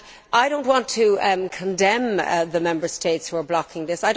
I do not want to condemn the Member States who are blocking this